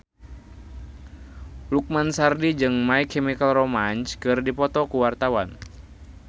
Lukman Sardi jeung My Chemical Romance keur dipoto ku wartawan